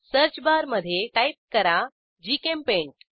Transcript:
search bar मधे type करा GChemPaint